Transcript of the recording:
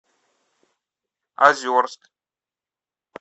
озерск